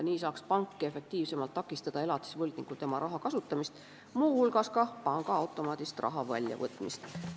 Nii saaks pank efektiivsemalt takistada elatisvõlgnikul raha kasutada, muu hulgas pangaautomaadist raha välja võtta.